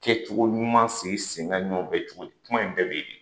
Kɛcogo ɲuman sigi sen kan ɲɔgɔn fɛ cogo di? Kuma in bɛɛ bɛ yen de.